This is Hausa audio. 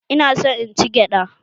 Ina son in ci gyada